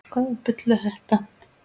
Hvaða bull er það?